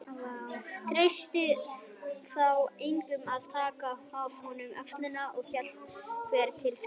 Treystist þá enginn að taka af honum öxina og hélt hver til síns skipsrúms.